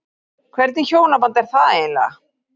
Hvernig hjónaband er það eiginlega?